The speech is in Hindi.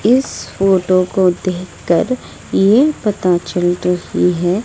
इस फोटो को देखकर ये पता चल रही है--